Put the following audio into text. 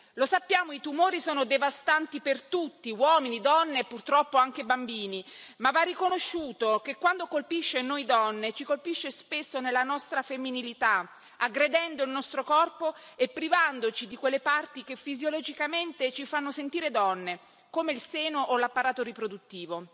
Lo sappiamo, i tumori sono devastanti per tutti, uomini, donne e purtroppo anche bambini, ma va riconosciuto che quando colpiscono noi donne, ci colpiscono spesso nella nostra femminilità, aggredendo il nostro corpo e privandoci di quelle parti che fisiologicamente ci fanno sentire donne, come il seno o l'apparato riproduttivo,